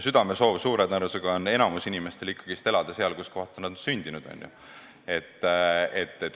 Südamesoov on suure tõenäosusega enamikul inimestel ikkagi elada seal, kus nad on sündinud.